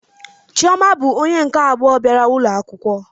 Chioma bụ onye nke abụọ bịara ụlọ akwụkwọ